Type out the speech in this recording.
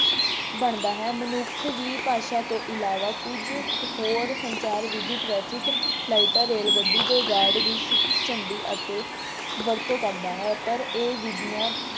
ਬਣਦਾ ਹੈ। ਮਨੁੱਖ ਵੀ ਭਾਸ਼ਾ ਤੋਂ ਇਲਾਵਾ ਕੁੱਝ ਕੁ ਹੋਰ ਸੰਚਾਰ ਵਿਧੀ traffic ਲਾਈਟਾਂ, ਰੇਲ ਗੱਡੀ ਦੇ guard ਦੀ ਝੰਡੀ ਅਤੇ ਵਰਤੋਂ ਕਰਦਾ ਹੈ। ਪਰ ਇਹ ਵਿਧੀਆਂ